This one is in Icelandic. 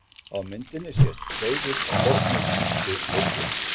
Á myndinni sést Seifur á fornu grísku leirkeri.